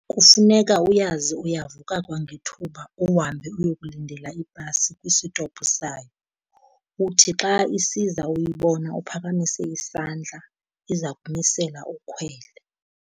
Kufuneka uyazi uyavuka kwangethuba uhambe uyokulindela ibhasi kwisitopu sayo. Uthi xa isiza uyibona uphakamise isandla, iza kumisela ukhwele.